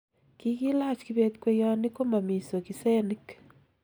kikilach kibet kweyonik ko mami sokisenik